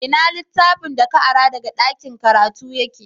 Ina littafin da ka ara daga ɗakin karatu yake?